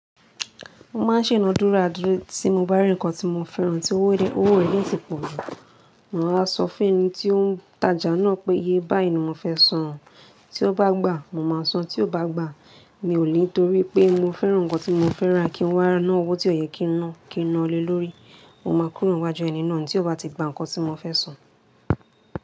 Mo máa ń ṣe ìnádúrà dúró tí mo bá rí nǹkan tí mo fẹ́ràn tí owó rẹ̀ de ti pọ̀. Mò ń wá sọ fún ẹni tí ó ń tajà náà pé, “iyé báyìí ni mo fẹ́ san àn, tí o bá gbà, mo máa san, tí o bá gbà, mi ò lé torí pé mo fẹ́ràn nǹkan tí mo fẹ́ rà, kí n wá náà owó tí ò yẹ kín ná, kí ń ná le lórí.” Mo máa kúrò niwájú ẹní náà tí ò bá ti gba nǹkan tí mo fẹ́ san.